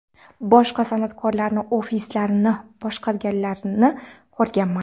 Boshqa san’atkorlarni ofislarini boshqarganlarini ko‘rganman.